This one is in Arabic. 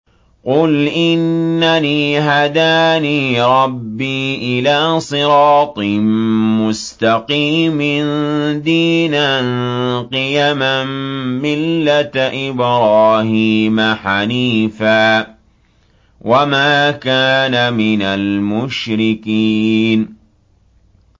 قُلْ إِنَّنِي هَدَانِي رَبِّي إِلَىٰ صِرَاطٍ مُّسْتَقِيمٍ دِينًا قِيَمًا مِّلَّةَ إِبْرَاهِيمَ حَنِيفًا ۚ وَمَا كَانَ مِنَ الْمُشْرِكِينَ